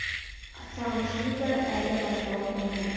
сағынышымыз да әлі басыла қойған жоқ